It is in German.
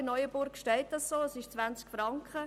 In Neuenburg steht das so geschrieben.